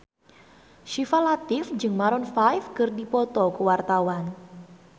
Syifa Latief jeung Maroon 5 keur dipoto ku wartawan